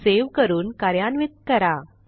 save करून कार्यान्वित करा